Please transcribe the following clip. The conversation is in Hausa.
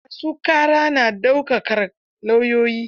Ma su ƙara na daukar lauyoyi.